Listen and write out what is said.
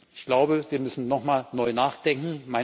Ich glaube, wir müssen noch mal neu nachdenken.